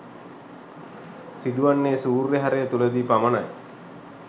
සිදු වන්නේ සූර්ය හරය තුලදී පමණයි.